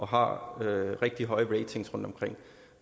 har rigtig høje ratings rundtomkring